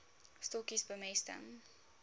stokkies bemesting